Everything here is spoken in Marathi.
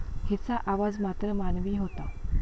हिचा आवाज मात्र मानवी होता.